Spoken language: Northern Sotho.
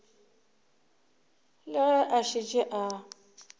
le ge a šetše a